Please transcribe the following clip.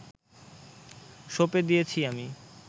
সঁপে দিয়েছি আমি